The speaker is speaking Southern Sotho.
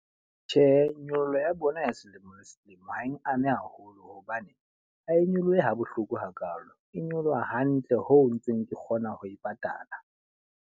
Tjhe, nyollo ya bona ya selemo le selemo ha eng ame haholo. Hobane ha e nyolohe ha bohloko hakalo, e nyoloha hantle ho ntseng ke kgona ho e patala.